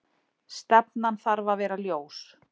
Stefnan þarf að vera ljós